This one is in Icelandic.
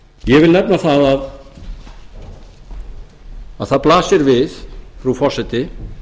ég vil nefna að það blasir við frú forseti